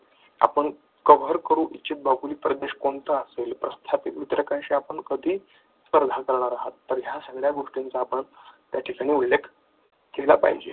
आपण असेल प्रस्थापित वितरकांशी आपण कधी आहात या सगळ्या गोष्टींचा आपण त्याच्यात उल्लेख केला पाहिजे.